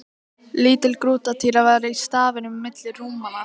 Lítil grútartýra var í stafninum milli rúmanna.